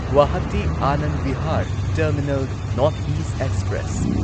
Guwahati Anand Vihar terminal north east express